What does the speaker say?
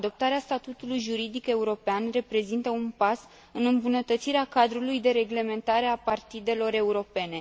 Adoptarea statutului juridic european reprezintă un pas în îmbunătățirea cadrului de reglementare a partidelor europene.